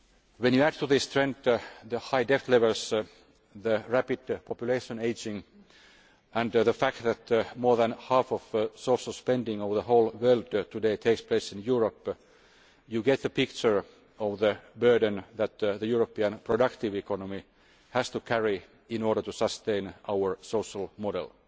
When you consider the high debt levels, the rapid population ageing and the fact that more than half of social spending over the whole world today takes place in Europe, you get a picture of the burden that the European productive economy has to carry in order to sustain our social model,